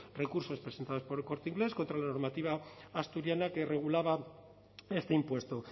recursos presentados por el corte inglés contra la normativa asturiana que regulaba este impuesto